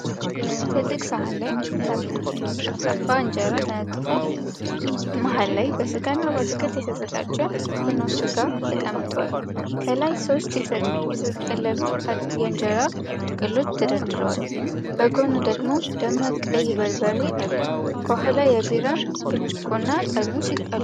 ትልቅ ሰሃን ላይ ጠፍጣፋ እንጀራ ተነጥፎ፣ መሃል ላይ በስጋና በአትክልት የተዘጋጀ ፍርኖ-ስጋ ተቀምጧል። ከላይ ሦስት የተጠቀለሉ የኢንጀራ ጥቅሎች ተደርድረዋል። በጎን ደግሞ ደማቅ ቀይ በርበሬ አለ፤ ከኋላ የቢራ ብርጭቆና ጠርሙስ አሉ።